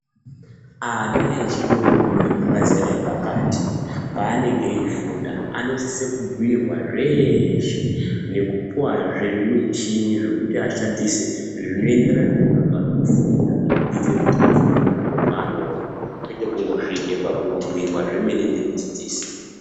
Ana echidodori emazera epakati paanenge eyifunda anosise kubhuyirwa zveshe, nekupuwazve zvimichini zvekuti ashandise zvinoenderana nezvavari kufunda, kuyitire kuti afunde pazviro zvaanoona kwete kungosvike pakungobhuyirwa zvemene ndimudzidzisi.